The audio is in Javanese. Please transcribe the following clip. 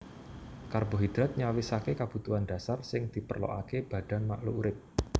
Karbohidrat nyawisaké kabutuhan dasar sing diperlokaké badan makluk urip